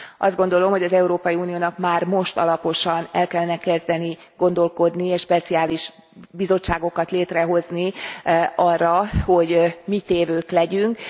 Azt gondolom, hogy az Európai Uniónak már most alaposan el kellene kezdeni gondolkodni és speciális bizottságokat létrehozni arra, hogy mi tévők legyünk.